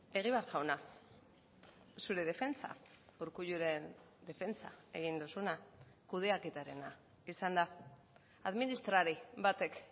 egibar jauna zure defentsa urkulluren defentsa egin duzuna kudeaketarena izan da administrari batek